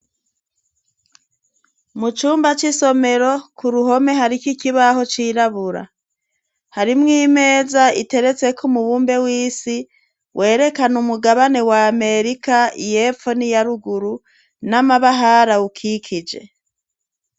Mu cumba c'isomero, ku ruhome hariko ikibaho cirabura harimwo imeza iteretseko umubumbe w'isi werekana umugabane wa amerika yepfo niya ruguru, n'amabahari ayikikije.